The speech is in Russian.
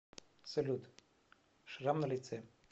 салют шрам на лице